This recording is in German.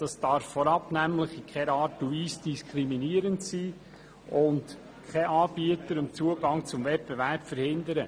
Vorab darf eine Auflage in keiner Art und Weise diskriminierend sein und keinen Anbieter am Zugang zum Wettbewerb hindern.